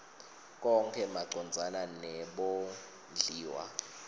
konkhe macondzana nebondliwa